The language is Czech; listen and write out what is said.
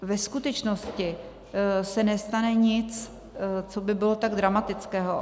Ve skutečnosti se nestane nic, co by bylo tak dramatického.